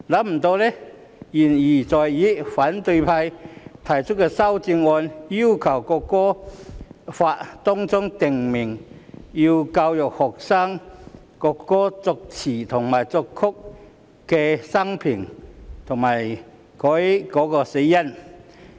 沒想到言猶在耳，反對派提出的修正案，竟要求《條例草案》訂明學校須教育學生國歌作詞人及作曲人的生平及死因。